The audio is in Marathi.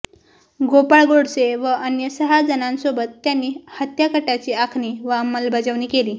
गोपाळ गोडसे व अन्य सहा जणांसोबत त्यांनी हत्याकटाची आखणी व अंमलबजावणी केली